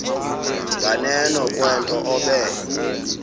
nganeno kwento obe